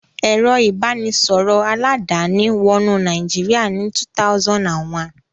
Ẹ̀rọ ìbanisọ̀rọ̀ aládàáni wọnú Nàìjíríà ní 2001.